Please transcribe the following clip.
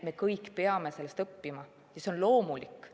Me kõik peame sellest õppima, see on loomulik.